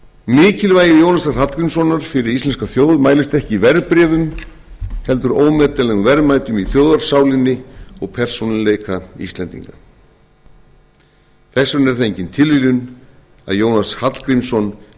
mikilvægi jónasar hallgrímssonar fyrir íslenska þjóð mælist ekki í verðbréfum heldur ómetanlegum verðmætum í þjóðarsálinni og persónuleika íslendinga þess vegna er það engin tilviljun að jónas hallgrímsson